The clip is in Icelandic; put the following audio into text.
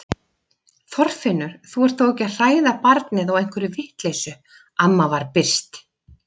Þorfinnur, þú ert þó ekki að hræða barnið á einhverri vitleysu amma var byrst.